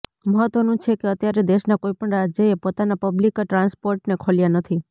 મહત્વનું છે કે અત્યારે દેશના કોઈપણ રાજ્યએ પોતાના પબ્લીક ટ્રાન્સપોર્ટને ખોલ્યા નથી